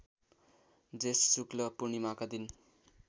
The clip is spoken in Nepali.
जेष्ठ शुक्ल पूर्णिमाका दिन